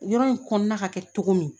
Yɔrɔ in kɔnɔna ka kɛ cogo min